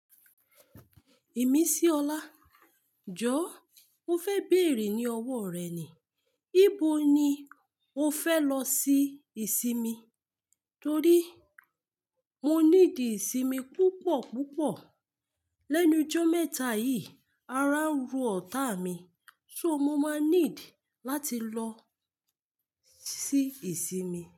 Ìmísíọlá, jọ́ọ́ mo fẹ́ bèèrè ní ọwọ́ rẹ̀ ni, ibo ni o fẹ lọ sí ìsinmi? Torí mo ní dì ìsinmi púpọ̀ púpọ̀. Lẹ́nu ijọ́ mẹ́ta yìí, ara ń ro ọ̀tá mi, so mo máa need láti lọ sí ìsinmi.